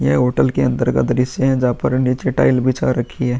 ये होटल के अंदर का दृश्य है जहाँ पर नीचे टाइल्स बिछा रखी है।